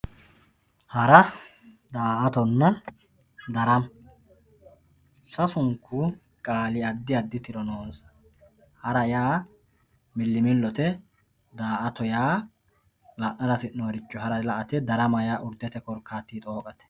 hara daa'atonna darama sasuku qaali addi addi tiro noonsa hara yaa millimillote daa'ato yaa la'nara hasi'noonniricho la'ate darama yaa urdete korkaatinni xooqate